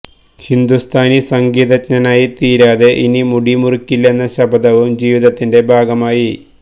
ഹിന്ദു സ്ഥാനി സംഗീതജ്ഞനായി തീരാതെ ഇനി മുടി മുറിക്കില്ലെന്ന ശപഥവും ജീവിതത്തിന്റെ ഭാഗമായി